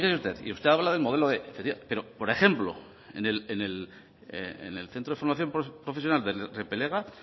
usted y usted habla del modelo b pero por ejemplo en el centro de formación profesional de repelega